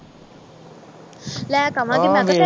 ਲੈ ਕੇ ਆਵਾਂਗੀ